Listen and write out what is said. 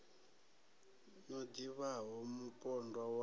no ḓi vhaho mupondwa wa